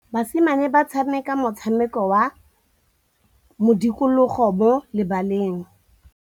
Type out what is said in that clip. Basimane ba tshameka motshameko wa modikologô mo lebaleng.